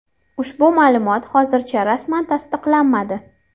Ushbu ma’lumot hozircha rasman tasdiqlanmadi.